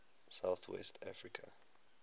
south west africa